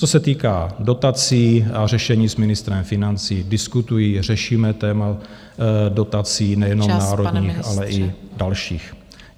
Co se týká dotací a řešení, s ministrem financí diskutuji, řešíme téma dotací , nejenom národních, ale i dalších.